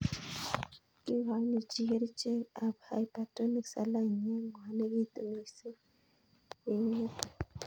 Kikoini chii kerichek ab Hypertonic saline ye ng'wanekitu mising' ye ingete